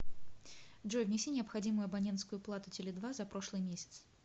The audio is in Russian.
джой внеси необходимую абонентскую плату теле два за прошлый месяц